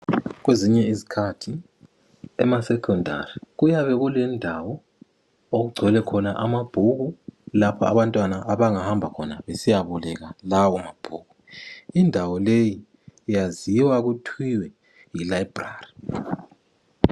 Kwezinye izikhathi emasecondary kuyabe kulendawo okugcwele khona amabhuku lapho abantwana abangahamba khona besiya boleka lawo mabhuku indawo leyi iyaziwa kuthiwa yi library.